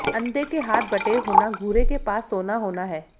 अंधे के हाथ बटेर होना घूरे के पास सोना होना है